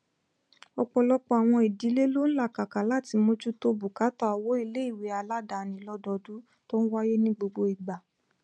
ọpọlọpọ àwọn ìdílé ló n làkàkà láti mójútó bùkátà owó iléìwé aládáni lọdọọdún to n waye ni gbogbo igba